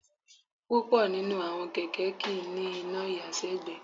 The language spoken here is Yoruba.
Púpọ̀ nínú àwọn kẹ̀kẹ́ kì í ní iná ìyàsẹ́gbẹ̀ẹ́